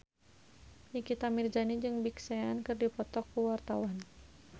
Nikita Mirzani jeung Big Sean keur dipoto ku wartawan